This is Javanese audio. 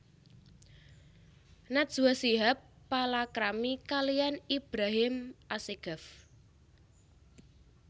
Najwa Shihab palakrami kaliyan Ibrahim Assegaf